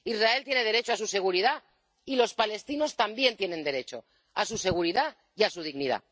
Israel tiene derecho a su seguridad y los palestinos también tienen derecho a su seguridad y a su dignidad.